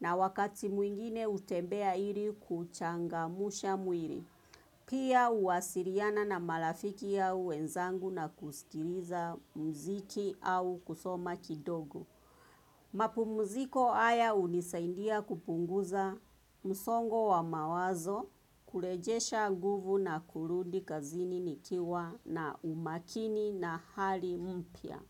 na wakati mwingine hutembea ili kuchangamsha mwili. Pia huwasiliana na marafiki au wenzangu na kusikiliza muziki au kusoma kidogo. Mapumziko haya hunisaidia kupunguza msongo wa mawazo kurejesha nguvu na kurudi kazini nikiwa na umakini na hali mpya.